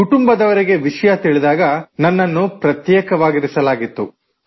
ಕುಟುಂಬದವರಿಗೆ ವಿಷಯ ತಿಳಿದಾಗ ನನ್ನನ್ನು ಪ್ರತ್ಯೇಕವಾಗಿರಿಸಲಾಗಿತ್ತು